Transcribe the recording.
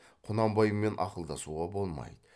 құнанбаймен ақылдасуға болмайды